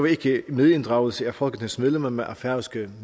ikke medinddragelse af folketingsmedlemmer men af færøske